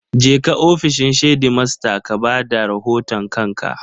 Jeka ofishin shedimasta ka ba da rahoton kanka!